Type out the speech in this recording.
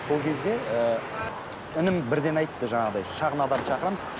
сол кезде ііі інім бірден айтты жаңағыдай шағын адам шақырамыз